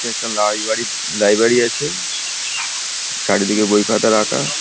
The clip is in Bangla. এটা একটা লাইবাড়ি লাইব্রেরী আছে চারিদিকে বই খাতা রাখা ।